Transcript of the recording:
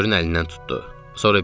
Joli Körün əlindən tutdu.